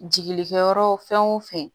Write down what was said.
Jigi kɛyɔrɔ fɛn o fɛn